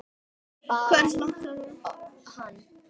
Hversu langt stefnir hún?